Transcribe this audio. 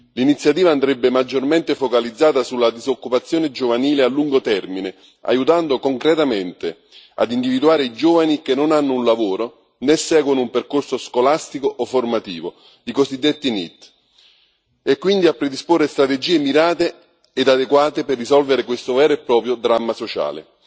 L'Iniziativa andrebbe maggiormente focalizzata sulla disoccupazione giovanile a lungo termine, aiutando concretamente a individuare i giovani che non hanno un lavoro né seguono un percorso scolastico o formativo, i cosiddetti NEET, e quindi a predisporre strategie mirate ed adeguate per risolvere questo vero e proprio dramma sociale.